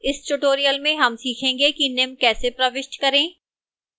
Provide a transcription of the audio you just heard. इस tutorial में हम सीखेंगे कि निम्न कैसे प्रविष्ट करें: